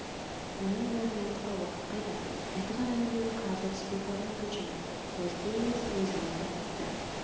оның бәрін тыңдауға уақыт қайда айтылған әңгіменің қағазға түспей қалғаны қаншама өзге емес өзім айтам авторы